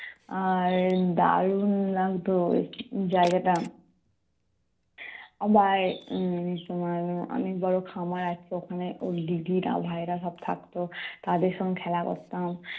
আহ আর দারুন লাগতো জায়গাটা। উম আবার তোমার অনেক বড় খামার আছে ওখানে ওই দিদিরা ভাইয়েরা সব থাকতো তাদের সঙ্গে খেলা করতাম।